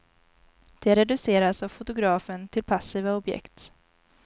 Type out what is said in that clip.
De reduceras av fotografen till passiva objekt.